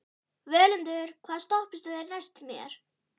Völundur, hvaða stoppistöð er næst mér?